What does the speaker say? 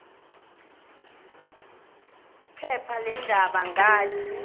phepha leendaba ngathi